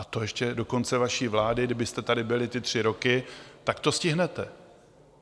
A to ještě do konce vaší vlády, kdybyste tady byli ty tři roky, tak to stihnete.